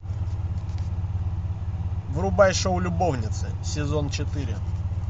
врубай шоу любовницы сезон четыре